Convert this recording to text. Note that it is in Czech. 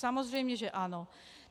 Samozřejmě že ano!